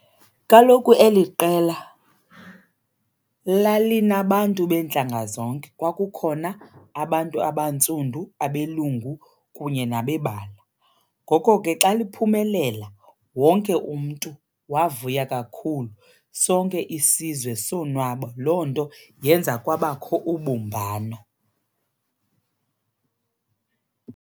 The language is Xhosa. Kaloku eli qela lalinabantu beentlanga zonke. Kwakukhona abantu abantsundu, abelungu kunye nabebala. Ngoko ke xa liphumelela wonke umntu wavuya kakhulu, sonke isizwe sonwaba, loo nto yenza kwabakho ubumbano.